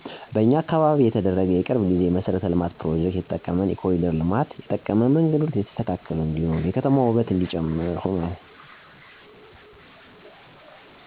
በኛ አካባቢ የተደረገ የቅርብ ጊዜ የመሠረተ ልማት ፕሮጀክት የጠቀመን የኮሪደር ልማት ነው የጠቀመንም መንገዶቹ የተስተካከሉ እንዲሆኑ እና የከተማዋ ውበት እነዲጨምር ሁኗል። ከዚ በተጨማሪም የንግድ ቦታዎች ቀለም መቀባት ለከተማዋ እይታ አሳምሮታል። ከዚህ በላይ ግን አሁንም በአካባቢው የሚያስፈልገው ንፁህ አካባቢ መፍጠር፣ የትምህርት ተቋማት መጨመር፣ የጤና አገልግሎት ማደስ፣ የውሃ እና የመብራት አገልግሎት የተሟላ እና የተመጣጠነ አቅርቦት መኖር፣ የደህንነት ባለሞያ መኖር እና የዘብ መከላከያ ተግባራዊ መሆን ናቸው።